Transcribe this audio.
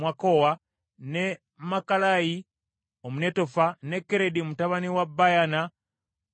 ne Makalayi Omunetofa, ne Keredi mutabani wa Bayaana Omunetofa,